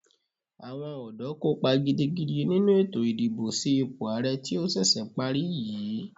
Àwọn ọ̀dọ́ kópa gidigidi nínu ètò ìdìbò sí ipò àrẹ tí ó ṣẹ̀ṣẹ̀ parí yìí.